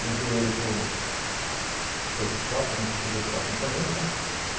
Levei ele para o para esse quarto, onde a gente podia ficar acompanhando né.